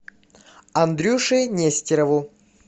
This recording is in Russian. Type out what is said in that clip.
андрюше нестерову